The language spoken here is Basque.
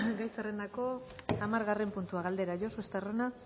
gai zerrendako hamargarren puntua galdera josu estarrona